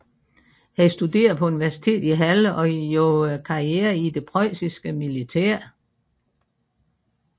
Han studerede på universitetet i Halle og gjorde karriere i det preussiske militær